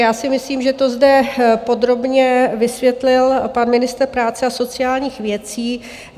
Já si myslím, že to zde podrobně vysvětlil pan ministr práce a sociálních věcí.